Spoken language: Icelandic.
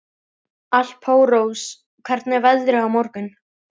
Alparós, hvernig er veðrið á morgun?